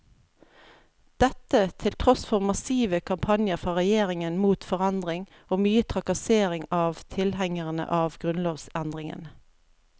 Dette til tross for massive kampanjer fra regjeringen mot forandring og mye trakassering av tilhengerne av grunnlovsendringene.